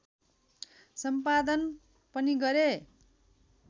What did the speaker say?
सम्पादन पनि गरे